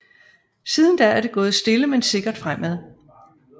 Siden da er det gået stille men sikkert fremad